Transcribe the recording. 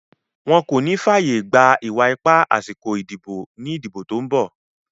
Wọn kò ní fàyègba ìwà ipá àsìkò ìdìbò ní ìdìbò tí ó ń bọ̀.